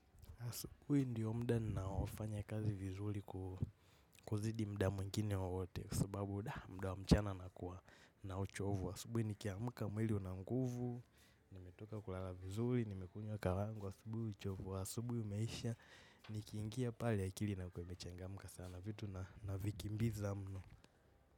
Asubuhi ndiyo muda ninaofanya kazi vizuri kuzidi muda mwingine wowote kwa sababu muda wa mchana nakuwa na uchovu. Asubuhi nikiamka mwili una nguvu, nimetoka kulala vizuri, nimekunywa kahawa yangu. Asubuhi uchovu, wa asubuhi umeisha nikingiia pale akili inakuwa imechangamka sana vitu na vikimbiza mno.